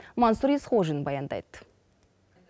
мансұр есқожин баяндайды